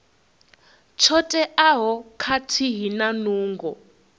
tsho teaho khathihi na nungo